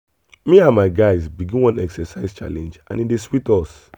me and my guys begin one exercise challenge and e dey sweet us.